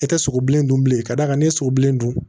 E tɛ sogo bilen dun bilen ka d'a ni sogo bilen dun